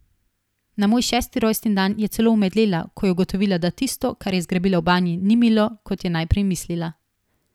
Na moj šesti rojstni dan je celo omedlela, ko je ugotovila, da tisto, kar je zgrabila v banji, ni milo, kot je najprej mislila ...